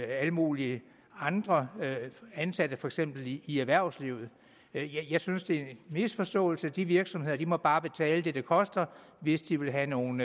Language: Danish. alle mulige andre ansatte for eksempel i erhvervslivet jeg synes det er misforståelse og de virksomheder må bare betale det det koster hvis de vil have nogle